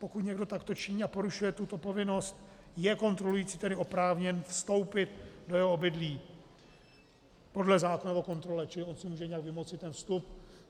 Pokud někdo takto činí a porušuje tuto povinnost, je kontrolující tedy oprávněn vstoupit do jeho obydlí podle zákona o kontrole, čili on si může nějak vymoci ten vstup.